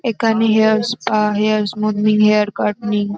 এখানে hair spa hair smoothening hair cutting.